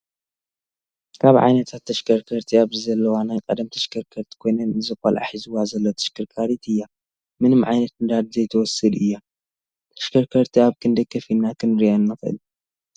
ካብ ዓይነታት ተሽከርከርቲ ኣብዚ ዘለዋ ናይ ቀደም ተሽከርከርቲ ኮይነን እዚ ቆልዓ ሒዝዋ ዘላ ተሽከርካሪት እያ ምንም ዓይነት ነዳዲ ዘይትወስድእያ። ተሽከርከርቲ ኣብ ክንዳይ ከፊልና ክንሪኣን ንክእል ?